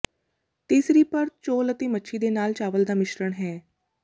ਤੀਸਰੀ ਪਰਤ ਚੌਲ ਅਤੇ ਮੱਛੀ ਦੇ ਨਾਲ ਚਾਵਲ ਦਾ ਮਿਸ਼ਰਣ ਹੈ